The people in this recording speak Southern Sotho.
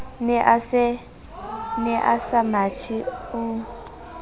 ne a sa mathe o